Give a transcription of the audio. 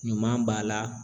Ɲuman b'a la